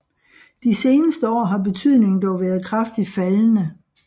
De seneste år har betydningen dog været kraftigt faldende